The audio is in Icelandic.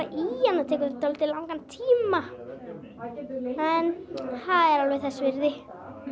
það tekur dálítið langan tíma en það er alveg þess virði